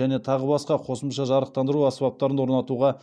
және тағы басқа қосымша жарықтандыру аспаптарын орнатуға